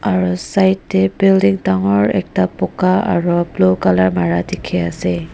aru side tae building dangor ekta buka aro blue colour mara dikhaiase.